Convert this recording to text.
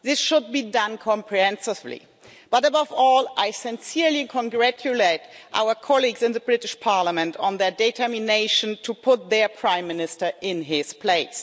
This should be done comprehensively. But, above all, I sincerely congratulate our colleagues in the British Parliament on their determination to put their Prime Minister in his place.